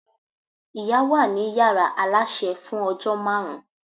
ìyá wa ni yàrá aláṣẹ fún ojó máàrún